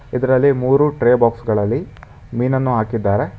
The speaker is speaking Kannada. ಇದರಲ್ಲಿ ಮೂರು ಟ್ರೇ ಬಾಕ್ಸ ಗಳಲ್ಲಿ ಮೀನನ್ನು ಹಾಕಿದ್ದಾರೆ.